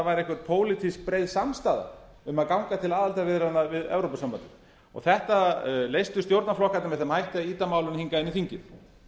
væri einhver pólitísk breið samstaða um að ganga til aðildarviðræðna við evrópusambandið þetta leystu stjórnarflokkarnir með þeim hætti að ýta málinu hingað inn í þingið